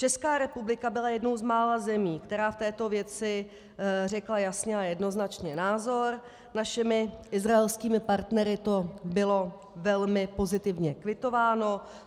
Česká republika byla jednou z mála zemí, která v této věci řekla jasně a jednoznačně názor, našimi izraelskými partnery to bylo velmi pozitivně kvitováno.